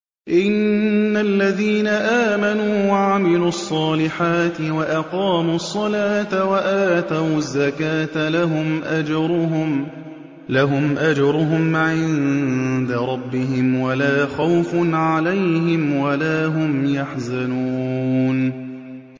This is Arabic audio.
إِنَّ الَّذِينَ آمَنُوا وَعَمِلُوا الصَّالِحَاتِ وَأَقَامُوا الصَّلَاةَ وَآتَوُا الزَّكَاةَ لَهُمْ أَجْرُهُمْ عِندَ رَبِّهِمْ وَلَا خَوْفٌ عَلَيْهِمْ وَلَا هُمْ يَحْزَنُونَ